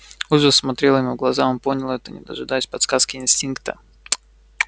ужас смотрел ему в глаза он понял это не дожидаясь подсказки инстинкта